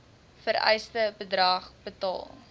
vereiste bedrag betaal